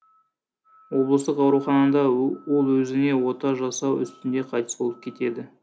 облыстық ауруханада ол өзіне ота жасау үстінде қайтыс болып кетеді